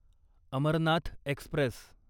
Amarnath Express